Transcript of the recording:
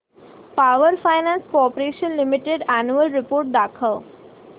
power finance corporation limited annual report दाखव